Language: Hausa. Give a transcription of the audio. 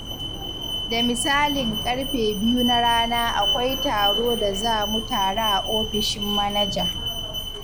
Da misalin ƙarfe biyu na rana akwai taro da za mu tare a ofishin manaja.